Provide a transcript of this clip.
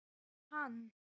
Er hann.